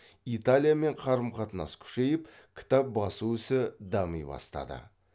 италиямен қарым қатынас күшейіп кітап басу ісі дами бастады